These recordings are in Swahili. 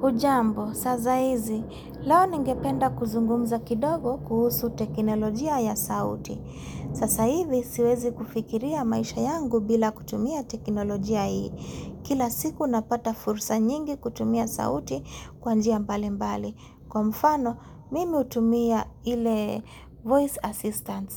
Hujambo, sasa hizi, leo ningependa kuzungumza kidogo kuhusu teknolojia ya sauti. Sasa hivi, siwezi kufikiria maisha yangu bila kutumia teknolojia hii. Kila siku, napata fursa nyingi kutumia sauti kwa njia mbali mbali. Kwa mfano, mimi hutumia ile voice assistant.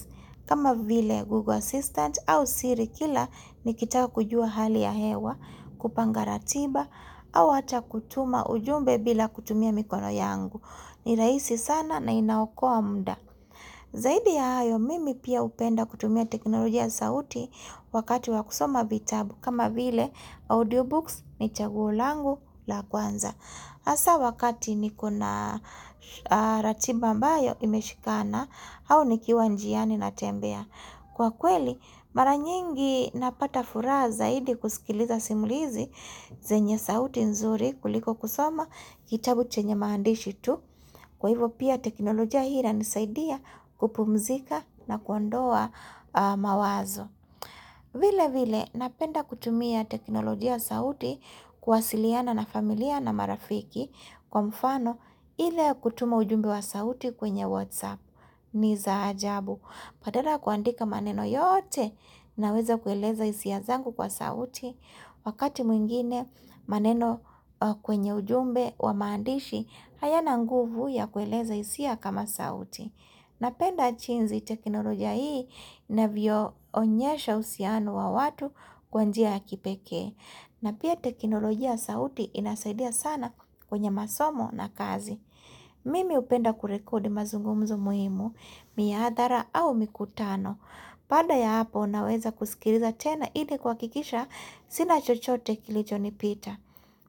Kama vile Google Assistant au siri kila, nikitaka kujua hali ya hewa, kupanga ratiba, au hata kutuma ujumbe bila kutumia mikono yangu. Ni rahisi sana na inaokoa muda. Zaidi ya hayo, mimi pia hupenda kutumia teknolojia ya sauti wakati wa kusoma vitabu. Kama vile, audiobooks ni chaguo langu la kwanza. Hasa wakati nikona ratiba ambayo imeshikana au nikiwa njiani natembea. Kwa kweli, mara nyingi napata furaha zaidi kusikiliza simulizi zenye sauti nzuri kuliko kusoma kitabu chenye maandishi tu. Kwa hivyo pia teknolojia hii inisaidia kupumzika na kuondoa mawazo. Vile vile napenda kutumia teknolojia ya sauti kuwasiliana na familia na marafiki kwa mfano ile ya kutuma ujumbe wa sauti kwenye whatsapp ni za ajabu. Badala ya kuandika maneno yote naweza kueleza hisia zangu kwa sauti Wakati mwingine maneno kwenye ujumbe wa maandishi hayana nguvu ya kueleza hisia kama sauti Napenda jinsi teknolojia hii inavyo onyesha uhusiano wa watu kwa njia ya kipekee na pia teknolojia ya sauti inasaidia sana kwenye masomo na kazi Mimi hupenda kurekodi mazungumzo muhimu Miadhara au mikutano baada ya hapo naweza kusikiliza tena ile kuhakikisha Sina chochote kilichonipita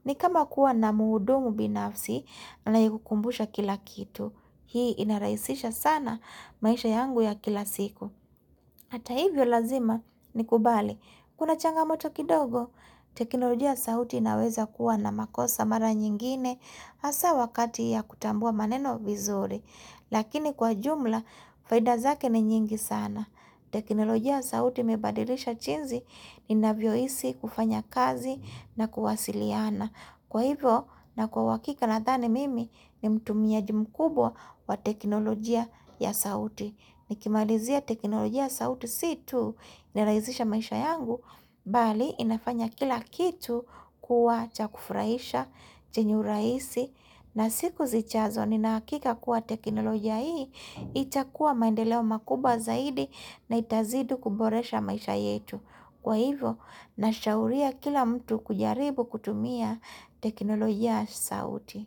ni kama kuwa na muhudumu binafsi anayekukumbusha kila kitu Hii inarahisisha sana maisha yangu ya kila siku Hata hivyo lazima nikubali Kuna changamoto kidogo teknolojia ya sauti inaweza kuwa na makosa mara nyingine hasa wakati ya kutambua maneno vizuri Lakini kwa jumla, faida zake ni nyingi sana. Teknolojia ya sauti imebadilisha jinsi ninavyohisi kufanya kazi na kuwasiliana. Kwa hivo na kwa uhakika nathani mimi ni mtumiaji mkubwa wa teknolojia ya sauti. Nikimalizia teknolojia ya sauti si tu inarahisisha maisha yangu, bali inafanya kila kitu kuwa cha kufurahisha, chenye urahisi, na siku zijazo nina uhakika kuwa teknolojia hii, itakuwa maendeleo makubwa zaidi na itazidi kuboresha maisha yetu. Kwa hivyo, nashauria kila mtu kujaribu kutumia teknolojia ya sauti.